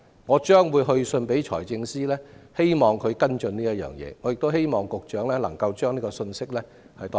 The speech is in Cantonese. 我將會去信財政司司長希望他跟進這事，亦希望局長代我轉告這個信息。